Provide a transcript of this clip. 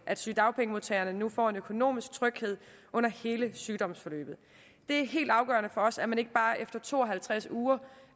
at sygedagpengemodtagerne nu får en økonomisk tryghed under hele sygdomsforløbet det er helt afgørende for os at man ikke efter to og halvtreds uger bare